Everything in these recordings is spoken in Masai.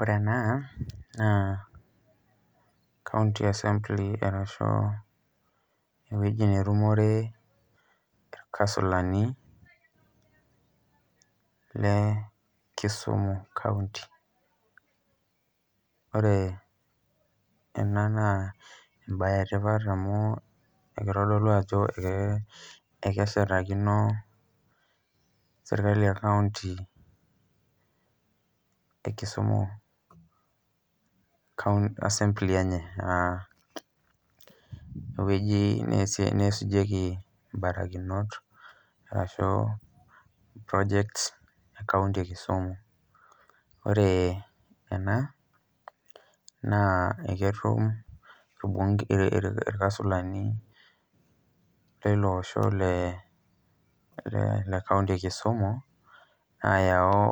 Ore ena, naa County Assembly enosho ewueji netumore irkanzolani le Kisumu county. Ore ena naa ebae etipat amu ekitodolu ajo ekeshetakino serkali e county e Kisumu assembly enye. Ewueji nesujieki barakinot arashu project e Kisumu. Ore ena, naa eketum irbunkei irkanzolani lele osho le county e Kisumu, ayau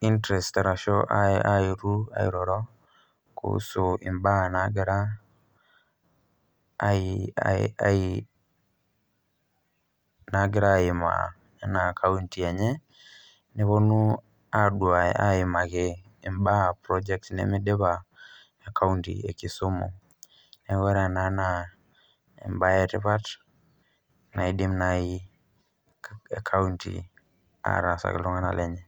interest arashu airoro kuhusu imbaa nagira, nagira aimaa enaa county enye, neponu aduaya aimaki imbaa project nimidipa e county e Kisumu. Neeku ore ena naa, ebae etipat, naidim nai county ataasaki iltung'anak lenye.